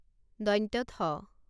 থ